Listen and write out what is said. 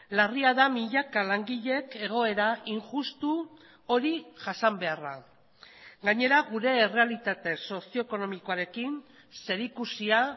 larria da milaka langileek egoera injustu hori jasan beharra gainera gure errealitate sozioekonomikoarekin zerikusia